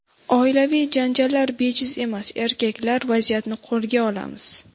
Oilaviy janjallar bejiz emas: Erkaklar, vaziyatni qo‘lga olamiz!